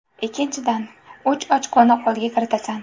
Ikkinchidan, uch ochkoni qo‘lga kiritasan.